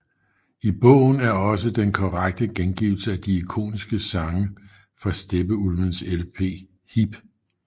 I bogen er også den korrekte gengivelse af de ikoniske sange fra Steppeulvenes LP HIP